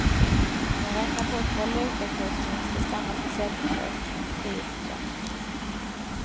Om man räknar bort valutakursvinster stannar försäljningsökningen på tio procent.